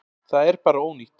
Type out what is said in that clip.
Það er bara ónýtt.